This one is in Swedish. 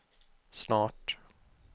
snart